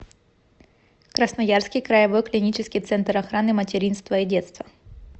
красноярский краевой клинический центр охраны материнства и детства